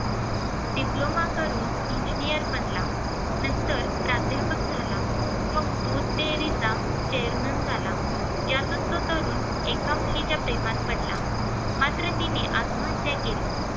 DIPLOMA करुन ENGINEER बनला नंतर प्राध्यापक झाला, मग दूध डेअरीचा chairman झाला यातच तो तरुण एका मुलीच्या प्रेमात पडला. मात्र तिने आत्महत्या केली.